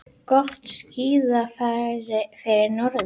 Gott skíðafæri fyrir norðan